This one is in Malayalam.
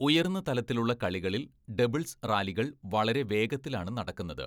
ഉയർന്ന തലത്തിലുള്ള കളികളിൽ ഡബിൾസ് റാലികൾ വളരെ വേഗത്തിലാണ് നടക്കുന്നത്.